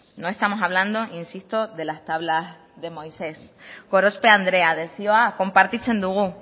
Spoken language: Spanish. no estamos hablando insisto de las tablas de moisés gorospe andrea desioa konpartitzen dugu